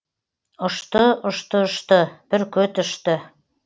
ұшты ұшты ұшты бүркіт ұшты